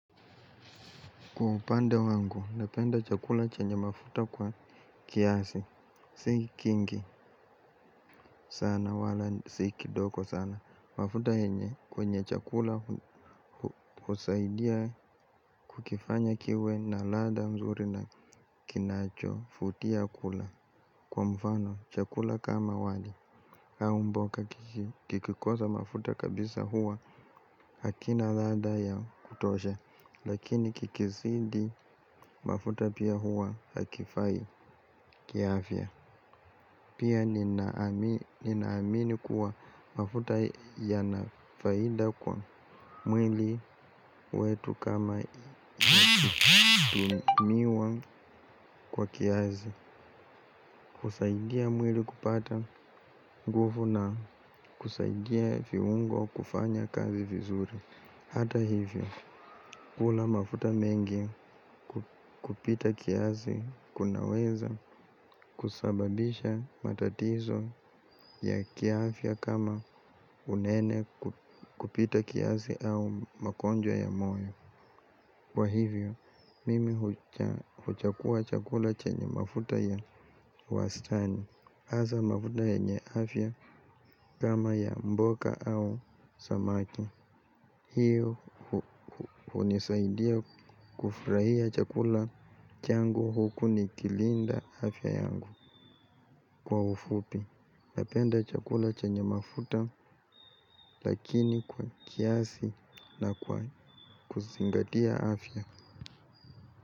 Kwa upande wangu, napenda chakula chenye mafuta kwa kiasi, sikingi sana wala siki doko sana. Mafuta henye kwenye chakula usaidia kukifanya kiwe na lada mzuri na kinacho futia kula. Kwa mfano, chakula kama wali haumboka kikikosa mafuta kabisa huwa hakina lada ya kutosha. Lakini kikisidi mafuta pia hua hakifai kiafya. Pia ninaamini kuwa mafuta ya nafaida kwa mwili wetu kama tumiwa kwa kiazi. Kusaidia mwili kupata nguvu na kusaidia viungo kufanya kazi vizuri. Hata hivyo, kula mafuta mengi kupita kiazi kunaweza kusababisha matatizo ya kiafya kama unene kupita kiasi au magonjwa ya moyo. Kwa hivyo, mimi huchakua chakula chenye mafuta ya wastani. Aza mafuta yenye afya kama ya mboga au samaki. Hii unisaidia kufurahia chakula changu huku nikilinda afya yangu kwa ufupi. Napenda chakula chenye mafuta lakini kwa kiasi na kwa kusingatia afya.